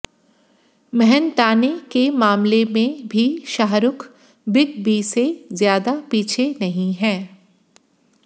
मेहनताने के मामले में भी शाहरुख बिग बी से ज्यादा पीछे नहीं हैं